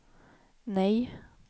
nej